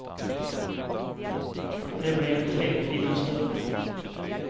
Det blev en trevlig liten stund.